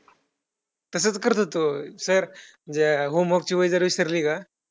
तसंच करत होतो. Sir म्हणजे homework ची वही जर विसरली का,